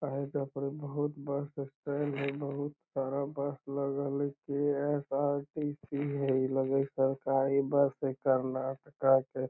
काहे की ए पड़ी बहुत बस स्टैंड हई बहुत सारा बस लगल हई | के.एस.आर.टी.सी. हई | लग हई सरकारी बस हई कर्नाटका के |